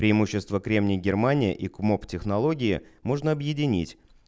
преимущества кремний германия и комок технологии можно объединить